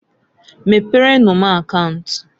Meprenu m akaunt.